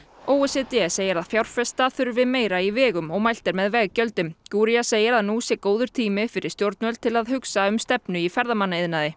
o e c d segir að fjárfesta þurfi meira í vegum og mælt er með veggjöldum segir að nú sé góður tími fyrir stjórnvöld til að hugsa um stefnu í ferðamannaiðnaði